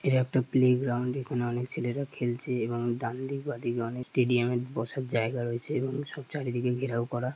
এটা একটা play ground এখানে অনেক ছেলেরা খেলছে এবং ডানদিক বাঁদিকে অনেক স্টেডিয়াম এ বসার জায়গা রয়েছে এবং সব চারিদিকে ঘেরাও করা।